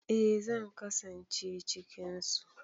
Eh zan kasance cikin su.